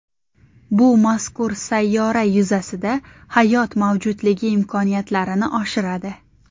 Bu mazkur sayyora yuzasida hayot mavjudligi imkoniyatlarini oshiradi.